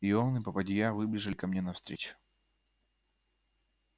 и он и попадья выбежали ко мне навстречу